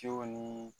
Cew ni